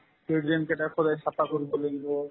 সেই drain কেইটা সদায় চাফা কৰিব লাগিব